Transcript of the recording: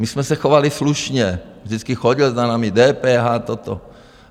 My jsme se chovali slušně, vždycky chodil za námi, DPH, toto.